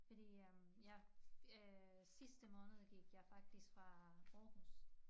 Fordi øh jeg øh sidste måned gik jeg faktisk fra Aarhus